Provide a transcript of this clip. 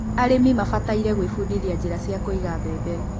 arĩmi mabataire gũibudithia njira cia kũiga mbembe